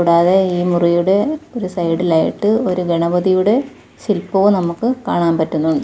കൂടാതെ ഈ മുറിയുടെ ഒരു സൈഡ് ലായിട്ട് ഒരു ഗണപതിയുടെ ശില്പവും നമുക്ക് കാണാൻ പറ്റുന്നുണ്ട്.